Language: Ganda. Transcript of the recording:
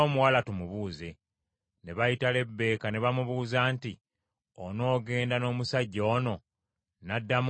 Ne bayita Lebbeeka, ne bamubuuza nti, “Onoogenda n’omusajja ono?” N’addamu nti, “Nnaagenda.”